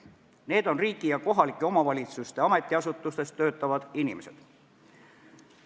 Need on riigi ja kohalike omavalitsuste ametiasutustes töötavad inimesed.